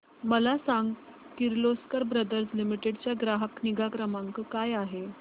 मला सांग Kirloskar brother limited चा ग्राहक निगा क्रमांक काय आहे